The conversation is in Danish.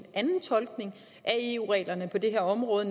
anden tolkning af eu reglerne på det her område